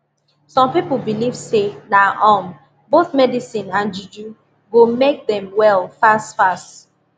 some people believe say na um both medicine and juju go make dem well fast fast